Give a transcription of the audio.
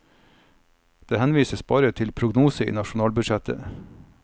Det henvises bare til prognosene i nasjonalbudsjettet.